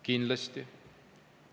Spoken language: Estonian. Kindlasti.